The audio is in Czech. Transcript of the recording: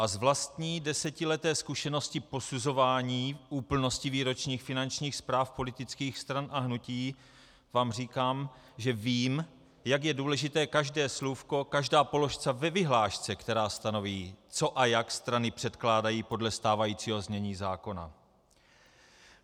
A z vlastní desetileté zkušenosti posuzování úplnosti výročních finančních zpráv politických stran a hnutí vám říkám, že vím, jak je důležité každé slůvko, každá položka ve vyhlášce, která stanoví, co a jak strany předkládají podle stávajícího znění zákona.